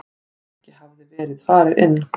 Ekki hafði verið farið inn.